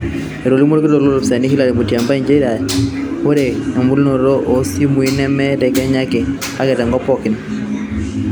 Etolimuo olkitok loolpolisi Hillary Mutyambai nchere ore ebulunoto oo simui nemr te Kenya ake, kake te nkop pookin